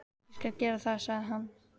Ég skal gera það, sagði hann.